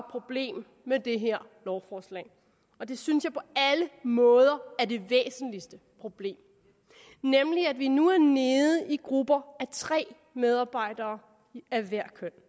problem med det her lovforslag det synes jeg på alle måder er det væsentligste problem nemlig at vi nu er nede i grupper af tre medarbejdere af hvert køn